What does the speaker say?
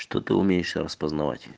что ты умеешь сейчас позновать